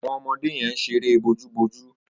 Awọn ọmọdé yèn ṣéré bójùbójù